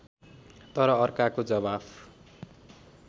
तर अर्काको जवाफ